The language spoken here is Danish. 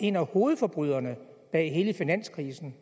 en af hovedforbryderne bag hele finanskrisen